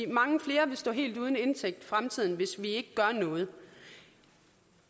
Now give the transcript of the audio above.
mange flere vil stå helt uden indtægt i fremtiden hvis vi ikke gør noget